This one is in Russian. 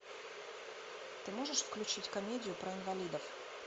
ты можешь включить комедию про инвалидов